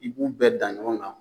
I b'u bɛɛ dan ɲɔgɔn kan.